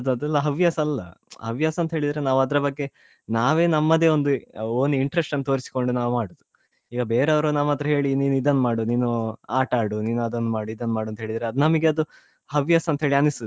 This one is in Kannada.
ಅದ್~ ಅದೆಲ್ಲ ಹವ್ಯಾಸ ಅಲ್ಲ ಹವ್ಯಾಸ ಅಂತ ಹೇಳಿದ್ರೆ ನಾವ್ ಅದ್ರ ಬಗ್ಗೆ ನಾವೇ ನಮ್ಮದೇ ಒಂದು own interest ತೋರಿಸ್ಕೊಂಡು ನಾವ್ ಮಾಡುದು ಈಗ ಬೇರೆಯವ್ರು ನಮ್ಮತ್ರ ಹೇಳಿ ನೀನ್ ಇದನ್ನು ಮಾಡು ನೀನು ಆಟ ಆಡು ನೀನು ಅದನ್ನು ಮಾಡು ನೀನು ಇದನ್ನು ಮಾಡು ಹೇಳಿದ್ರೆ ಅದ್ ನಮ್ಗೆ ಅದು ಹವ್ಯಾಸ ಅಂತ ಅನಿಸುದಿಲ್ಲ.